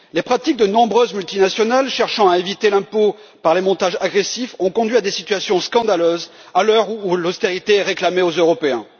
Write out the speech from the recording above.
Les pratiques de nombreuses multinationales cherchant à éviter l'impôt par les montages agressifs ont conduit à des situations scandaleuses à l'heure où l'austérité est réclamée aux Européens.